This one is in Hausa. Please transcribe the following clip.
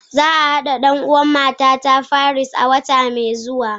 Za a naɗa ɗan'uwan matata firist a wata mai zuwa